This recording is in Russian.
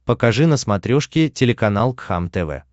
покажи на смотрешке телеканал кхлм тв